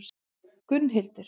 Gunnhildur